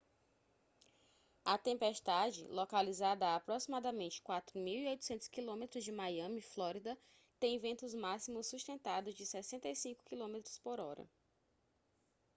a tempestade localizada a aproximadamente 4.800 km de miami flórida tem ventos máximos sustentados de 65 km/h